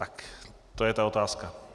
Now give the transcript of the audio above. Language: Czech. Tak, to je ta otázka.